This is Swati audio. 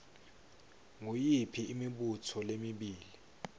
nguyiphi imibuto lemibili